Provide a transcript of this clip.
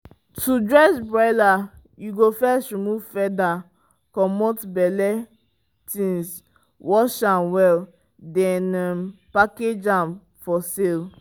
to dress broiler you go first remove feather comot belle things wash am well then um package am for sale.